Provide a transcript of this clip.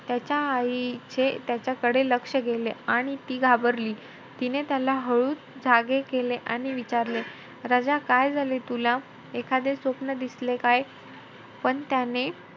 त्याच्या आईचे त्याच्याकडे लक्ष गेले. आणि ती घाबरली. तिने त्याला हळूचं जागे केले आणि विचारले राजा काय झाले तुला? एखादे स्वप्न दिसले काय? पण त्याने त्याच्या आईचे,